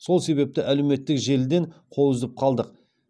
сол себепті әлеуметтік желіден қол үзіп қалдық